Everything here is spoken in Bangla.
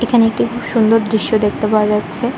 এখানে একটি খুব সুন্দর দৃশ্য দেখতে পাওয়া যাচ্ছে।